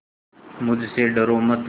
मुझसे डरो मत